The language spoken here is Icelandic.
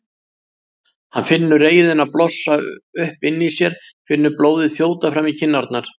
Hann finnur reiðina blossa upp inni í sér, finnur blóðið þjóta fram í kinnarnar.